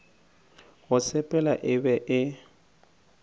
go sepela e be e